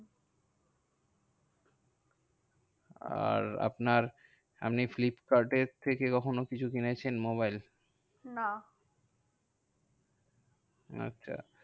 আর আপনার আপনি ফ্লিপকার্ডের থেকে কখনো কিছু কিনেছেন মোবাইল? না আচ্ছা